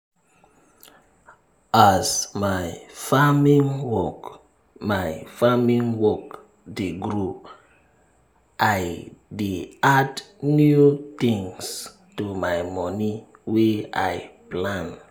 as my farming work my farming work dey grow i dey add new things to my moni wey i plan